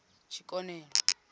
tshikonelo